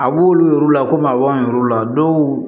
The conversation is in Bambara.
A b'olu yir'u la komi a b'an yɛruw la dɔw